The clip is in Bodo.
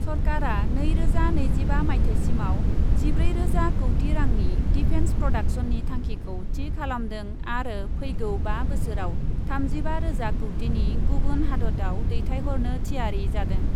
सरकारा नैरोजा नैजिबा माइथायसिमाव जिब्रै रोजा कौटि रांनि डिफेन्स प्रडाक्शननि थांखिखौ थि खालामदों आरो फैगौ बा बोसोराव थामजिबा रोजा कौटिनि गुबुन हादतआव दैथाइहरनो थियारि जादों ।